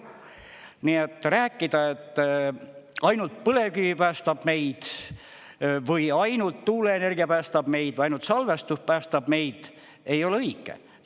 Nii et rääkida, et ainult põlevkivi päästab meid või ainult tuuleenergia päästab meid, ainult salvestus päästab meid, ei ole õige.